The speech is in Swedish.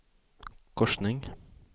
korsning